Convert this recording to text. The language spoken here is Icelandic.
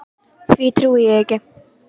Því trúi ég ekki.